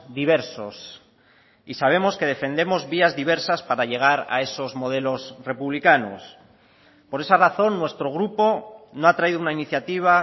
diversos y sabemos que defendemos vías diversas para llegar a esos modelos republicanos por esa razón nuestro grupo no ha traído una iniciativa